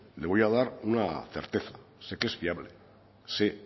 le voy a dar una certeza sé que es fiable sé